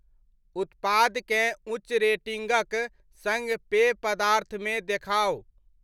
उत्पादकेँ उच्च रेटिङ्गक सङ्ग पेय पदार्थ मे देखाउ।